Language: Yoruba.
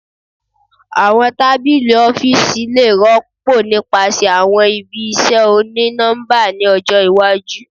Awọn tabili ọfiisi le rọpo nipasẹ awọn ibi iṣẹ oni-nọmba ni ọjọ iwaju